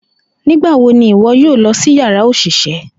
Nigbawo ni iwọ yoo lọ si yara oṣiṣẹ?